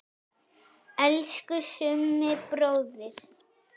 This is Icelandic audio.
Elsku Summi bróðir.